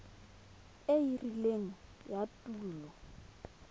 e e rileng ya tulo